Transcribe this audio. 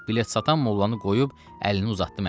Bilet satan mollanı qoyub əlini uzatdı mənə.